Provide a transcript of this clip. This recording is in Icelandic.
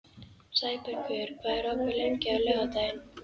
Sæbergur, hvað er opið lengi á laugardaginn?